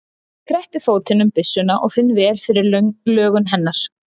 Ég kreppi fótinn um byssuna og finn vel fyrir lögun hennar.